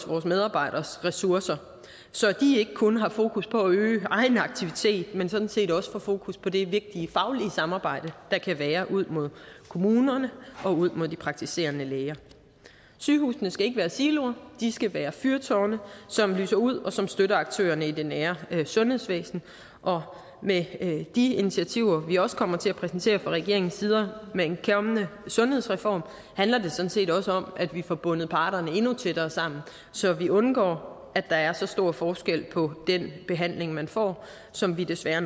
vores medarbejderes ressourcer så de ikke kun har fokus på at øge egen aktivitet men sådan set også får fokus på det vigtige faglige samarbejde der kan være ud mod kommunerne og ud mod de praktiserende læger sygehusene skal ikke være siloer de skal være fyrtårne som lyser ud og som støtter aktørerne i det nære sundhedsvæsen og med de initiativer vi også kommer til at præsentere fra regeringens side med en kommende sundhedsreform handler det sådan set også om at vi får bundet parterne endnu tættere sammen så vi undgår at der er så stor forskel på den behandling man får som vi desværre